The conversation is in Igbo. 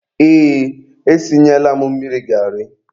Ee, e sinyela m mmiri garị.